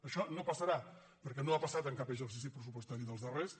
això no passarà perquè no ha passat en cap exercici pressu·postari dels darrers